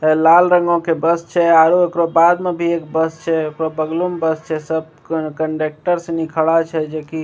एता लाल रंगो के यहाँ पे बस छै ओकरा बाद में भी एगो बस छै ओकरा बगलो में एगो बस छै सब कंडेक्टर संगी खड़ा छै जैकी --